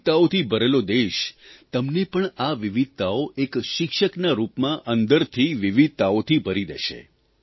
વિવિધતાઓથી ભરેલો દેશ તમને પણ આ વિવિધતાઓ એક શિક્ષકના રૂપમાં અંદરથી વિવિધતાઓથી ભરી દેશે